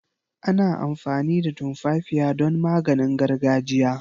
Ana amfani da tumfafiya don maganin gargajiya.